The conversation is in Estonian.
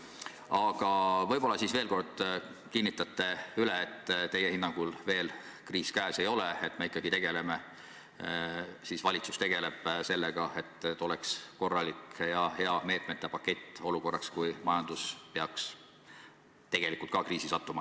Aga võib-olla te siis veel kord kinnitate üle, et teie hinnangul veel kriis käes ei ole ja valitsus tegeleb sellega, et oleks korralik ja hea meetmete pakett olukorraks, kui majandus peaks tõesti kriisi sattuma.